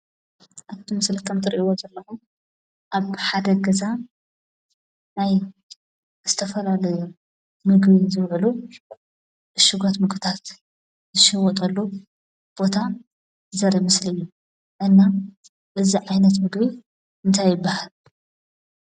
ኣብቲ ምስሊ ትሪእይዎ ዘለኹም ኣብቲ ሓደ ገዛ ናይ ዝተፈላለዩ ምግቢ ዝውዕሉ ዕሹጋት ምግብታት ዝሽወጠሉ ቦታ ዘርኢ ምስሊ እዩ፡፡ እና እዚ ዓይነት ምግቢ እንታይ ይባሃል?